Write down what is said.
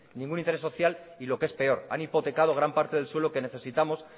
ningún interés social y lo que es peor han hipotecado gran parte del suelo que necesitamos